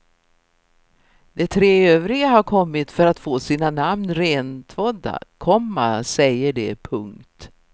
De tre övriga har kommit för att få sina namn rentvådda, komma säger de. punkt